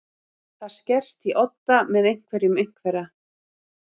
Það skerst í odda með einhverjum einhverra